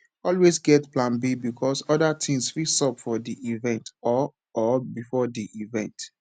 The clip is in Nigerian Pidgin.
always get plan b because other things fit sup for di event or or before di event